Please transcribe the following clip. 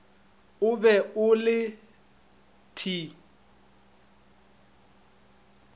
o be o le t